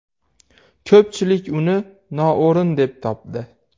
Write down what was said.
Ko‘pchilik uni noo‘rin deb topdi.